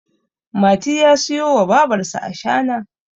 mati ya siyo wa babarsa ashana